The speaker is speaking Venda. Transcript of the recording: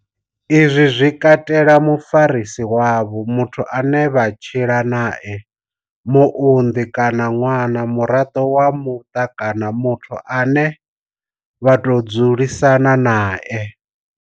Izwi zwi katela mufarisi wavho, muthu ane vha tshila nae, muunḓi kana ṅwana, muraḓo wa muṱa kana muthu ane vha tou dzulisana nae.